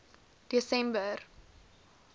desember